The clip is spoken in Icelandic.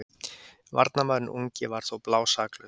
Varnarmaðurinn ungi var þó blásaklaus.